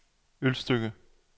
Ølstykke